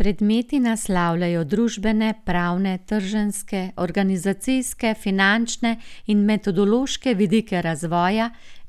Predmeti naslavljajo družbene, pravne, trženjske, organizacijske, finančne in metodološke vidike razvoja